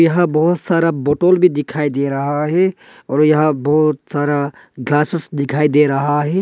यहां बहुत सारा बोतल भी दिखाई दे रहा है और यहां बहुत सारा ग्लासेस दिखाई दे रहा है।